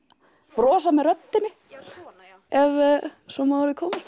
brosa með röddinni ef svo má að orði komast